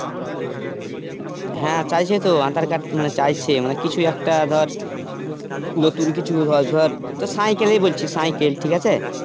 হ্যাঁ চাইছেতো aadhar card মানে চাইছে মানে কিছু একটা ধর নতুন কিছু ধধর তোর সাইকেলেই বলছি সাইকেল ঠিকআছে